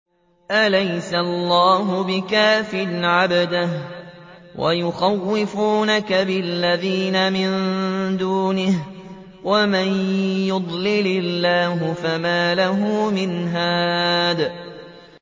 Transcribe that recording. أَلَيْسَ اللَّهُ بِكَافٍ عَبْدَهُ ۖ وَيُخَوِّفُونَكَ بِالَّذِينَ مِن دُونِهِ ۚ وَمَن يُضْلِلِ اللَّهُ فَمَا لَهُ مِنْ هَادٍ